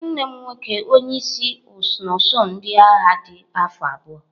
Nwanne m nwoke onye isi n'usuu ndị agha dị afọ abụọ.